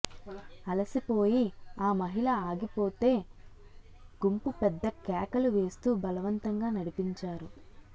అలసిపోయి ఆ మహిళ అగిపోతే గుంపు పెద్ద కేకలు వేస్తూ బలవంతంగా నడిపించారు